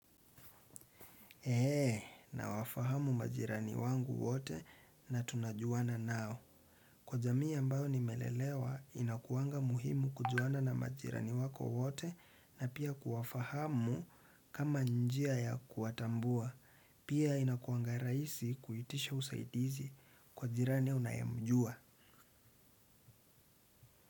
Eee, nawafahamu majirani wangu wote na tunajuana nao. Kwa jamii ambayo nimelelewa, inakuwanga muhimu kujuana na majirani wako wote na pia kuwafahamu kama njia ya kuwatambua. Pia inakuwanga raisi kuitisha usaidizi kwa jirani unayemjua.